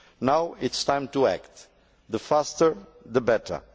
Now it is time to act, and the faster the better.